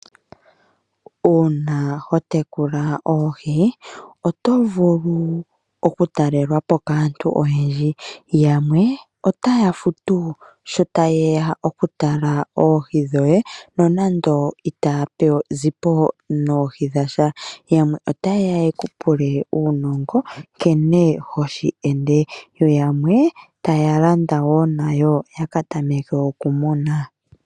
Uuna ho tekula oohi oto vulu okutalelwa po kaantu oyendji. Yamwe otaya futu sho taye ya okutala oohi dhoye nonando itaya zi po noohi dhasha. Yamwe ota yeya ye ku pule uunongo nkene hoshi ende. Yo yamwe taya landa wo nayo ya ka tameke okumuna.